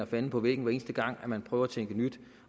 fanden på væggen hver eneste gang man prøver at tænke nyt